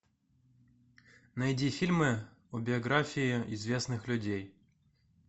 найди фильмы о биографии известных людей